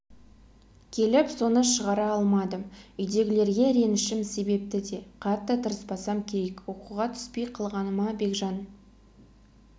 келіп соны шығара алмадым үйдегілерге ренішім себепті де қатты тырыспасам керек оқуға түспей қалғаныма бекжан